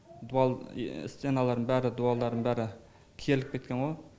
дуал стеналардың бәрі дуалдардың бәрі керіліп кеткен ғой